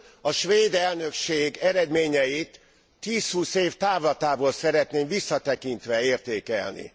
A svéd elnökség eredményeit tíz húsz év távlatából szeretnénk visszatekintve értékelni.